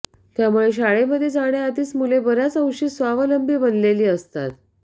त्यामुळे शाळेमध्ये जाण्याआधीच मुले बऱ्याच अंशी स्वावलंबी बनलेली असतात